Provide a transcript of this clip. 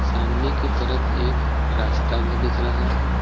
सामने की तरफ एक रास्ता भी दिख रहा है।